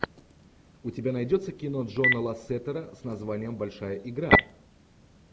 у тебя найдется кино джона лассетера с названием большая игра